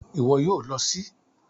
Ìwo yio lo sí